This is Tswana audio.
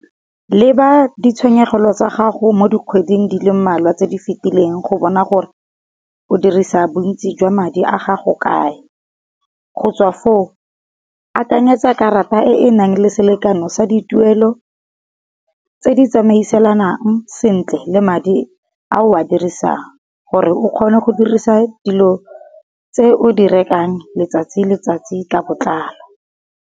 Leba di tshenyegelo tsa gago mo di kgweding di le mmalwa tse di fitileng go bona gore, o dirisa bontsi jwa madi a gago kae. Go tswa foo akanyetsa karata e e nang le selekano sa dituelo tse di tsamaisanang sentle le madi a o a dirisang gore o kgone go dirisa dilo tse o di rekang letsatsi letsatsi ka botlalo.